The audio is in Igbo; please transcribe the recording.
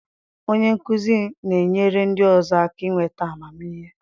Onye nkuzi na-enyere ndị ọzọ aka inweta amamihe.